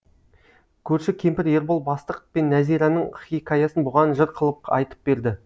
көрші кемпір ербол бастық пен нәзираның хикаясын бұған жыр қылып айтып берді